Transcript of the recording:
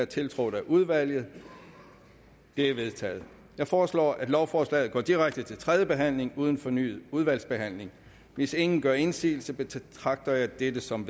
tiltrådt af udvalget de er vedtaget jeg foreslår at lovforslaget går direkte til tredje behandling uden fornyet udvalgsbehandling hvis ingen gør indsigelse betragter jeg dette som